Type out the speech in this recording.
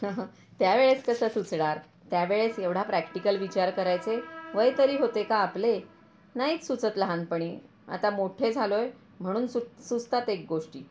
त्यावेळेस कसं सुचणार, त्यावेळेस एवढा प्रॅक्टिकल विचार करायचे वय तरी होते का आपले? नाहीच सुचत लहानपणी, आता मोठे झालो आहे म्हणून सुचतात हे गोष्टी.